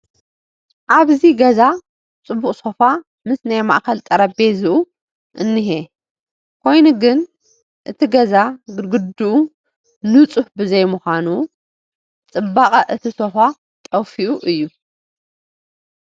ኣብዚ ገዛ ፅቡቕ ሶፋ ምስ ናይ ማእኸል ጠረጴዝኡ እኒሀ፡፡ ኮይኑ ግን እቲ ገዛ ግድግድኡ ንፁህ ብዘይምዃኑ ፅባቐ እቲ ሶፋ ጠፊኡ እዩ፡፡